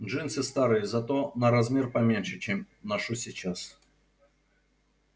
джинсы старые зато на размер поменьше чем ношу сейчас